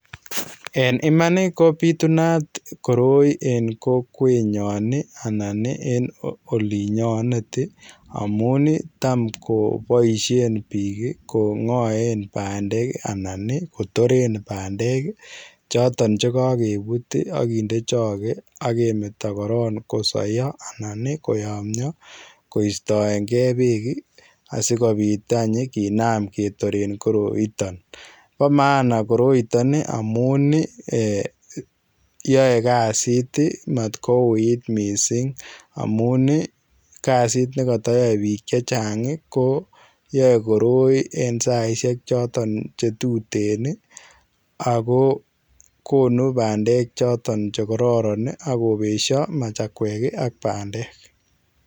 En imaan ii ko bitunaat koroi en kokwet nyoon ii anan olinyaneet ii amuun taam kobaisheen biik kongaen pandeek anan kotoreen pandeek ii chotoon chekakebuut ii aginde chagee agemetaa korong kosayaa koyamyaa koistaegei beek ii asikobiit aany kinam ketereen koroitaan bo maana koroitaan amuun ii eeh yae kazit ii matko wui misssing amuun ii kazit nekatayae biik chechaang ii ko yae koroi en saisiek chotoon che tuteen ii ago konuu pandeek chotoon chekororon agobeshia machakweek ii ak pandeek.